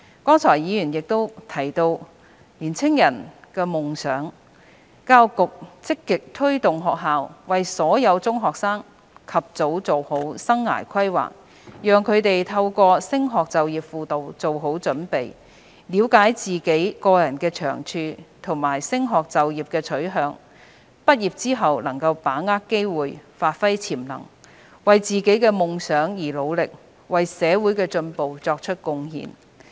剛才議員亦提到青年人的夢想，教育局積極推動學校為所有中學生及早作好生涯規劃，讓他們透過升學就業輔導做好準備，了解自己個人的長處和升學就業的取向，畢業後能把握機會，發揮潛能，為自己的夢想而努力，為社會的進步作出貢獻。